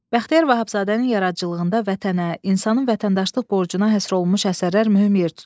Bəxtiyar Vahabzadənin yaradıcılığında vətənə, insanın vətəndaşlıq borcuna həsr olunmuş əsərlər mühüm yer tutur.